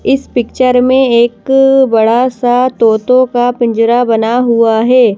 इस पिक्चर में एक बड़ा सा तोतों का पिंजरा बना हुआ है।